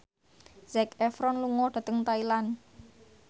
Zac Efron lunga dhateng Thailand